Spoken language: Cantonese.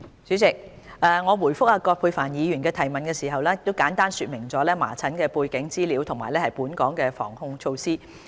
主席，我答覆葛珮帆議員的質詢時，已簡單說明了麻疹的背景資料及本港的防控措施。